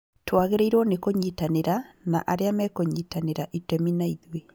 Twagĩrĩirwo ni kũnyitanĩra na arĩa mekũnyitanira itemi naithuĩ